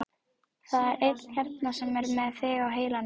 Það er einn hérna sem er með þig á heilanum.